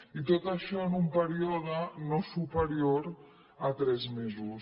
i tot això en un període no superior a tres mesos